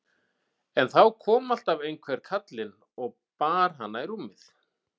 En þá kom alltaf einhver kallinn og bar hana í rúmið.